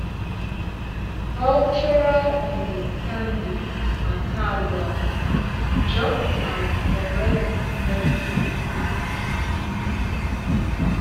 cultural understanding matter well just like correct medical treatment